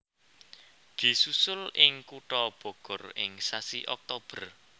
Disusul ing kutha Bogor ing sasi Oktober